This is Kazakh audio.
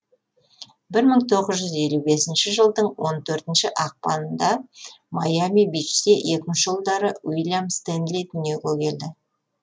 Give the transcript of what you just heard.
бір мың тоғыз жүз елу бесінші жылдың он төртінші ақпаныңда майами бичте екінші ұлдары уильям стэнли дүниеге келеді